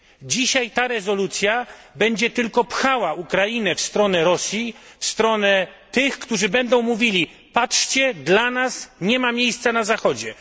Dzisiejsza rezolucja będzie tylko popychała Ukrainę w stronę Rosji, w stronę tych, którzy będą mówili patrzcie, dla nas nie ma miejsca na Zachodzie.